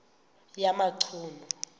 yamachunu